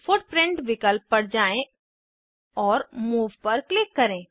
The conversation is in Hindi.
फुटप्रिंट विकल्प पर जाएँ और मूव पर क्लिक करें